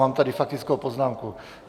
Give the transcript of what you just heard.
Mám tady faktickou poznámku.